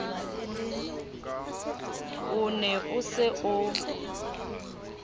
o ne o se o